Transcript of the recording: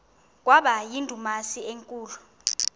kwaba yindumasi enkulu